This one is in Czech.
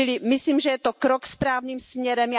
Myslím, že je to krok správným směrem.